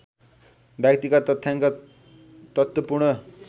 व्यक्तिगत तथ्याङ्क तत्त्वपूर्ण